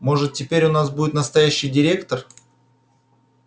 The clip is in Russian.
может теперь у нас будет настоящий директор